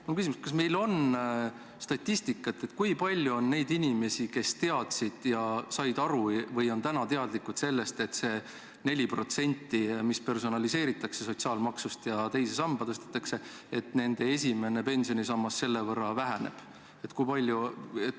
Mul on küsimus: kas meil on statistikat, kui palju on neid inimesi, kes teadsid, said aru või on nüüd teadlikud sellest, et selle 4% võrra, mis personaliseeritakse sotsiaalmaksust ja teise sambasse tõstetakse, nende esimene pensionisammas väheneb?